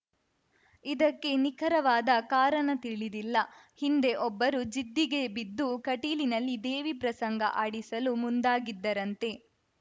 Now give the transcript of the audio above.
ಇದಕ್ಕೆ ನಿಖರವಾದ ಕಾರಣ ತಿಳಿದಿಲ್ಲ ಹಿಂದೆ ಒಬ್ಬರು ಜಿದ್ದಿಗೆ ಬಿದ್ದು ಕಟೀಲಿನಲ್ಲಿ ದೇವಿ ಪ್ರಸಂಗ ಆಡಿಸಲು ಮುಂದಾಗಿದ್ದರಂತೆ